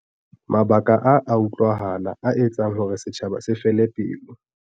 Mabaka a a utlwahala a etsang hore setjhaba se fele pelo.